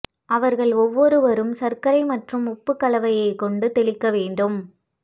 அவர்கள் ஒவ்வொருவரும் சர்க்கரை மற்றும் உப்பு கலவையை கொண்டு தெளிக்க வேண்டும்